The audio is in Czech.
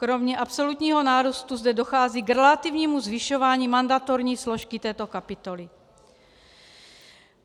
Kromě absolutního nárůstu zde dochází k relativnímu zvyšování mandatorní složky této kapitoly.